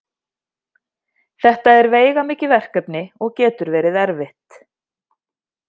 Þetta er veigamikið verkefni og getur verið erfitt.